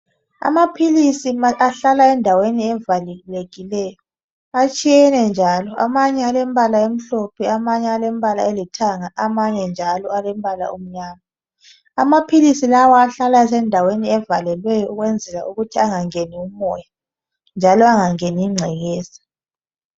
Amaphilisi ahlala endaweni evalekileyo atshiyeneyo njalo amanye alembala emhlophe amanye alembala elithanga amanye njalo alombala omnyama amaphilisi lawa ahlala endaweni evalelwelyo ukuze engangeni umoya angangeni ingcekeza